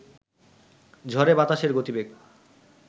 ঝড়ে বাতাসের গতিবেগ